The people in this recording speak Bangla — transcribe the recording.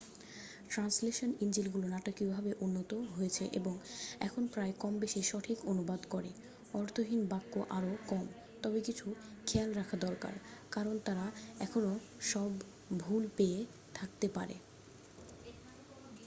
ট্রান্সলেশন ইঞ্জিনগুলো নাটকীয়ভাবে উন্নত হয়েছে এবং এখন প্রায়ই কম-বেশি সঠিক অনুবাদ করে অর্থহীন বাক্য আরও কম তবে কিছু খেয়াল রাখা দরকার কারণ তারা এখনও সব ভুল পেয়ে থাকতে পারে।